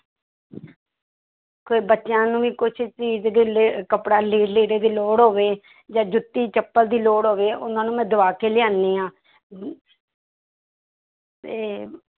ਕੋਈ ਬੱਚਿਆਂ ਨੂੰ ਵੀ ਕੁਛ ਚੀਜ਼ ਦੇ ਲੇ~ ਕੱਪੜਾ ਲ~ ਲੀੜੇ ਦੀ ਲੋੜ ਹੋਵੇ ਜਾਂ ਜੁੱਤੀ ਚੱਪਲ ਦੀ ਲੋੜ ਹੋਵੇ ਉਹਨਾਂ ਨੂੰ ਮੈਂ ਦਵਾ ਕੇ ਲਿਆਉਂਦੀ ਹਾਂ ਤੇ